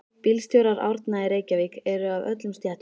Bílstjórar Árna í Reykjavík eru af öllum stéttum.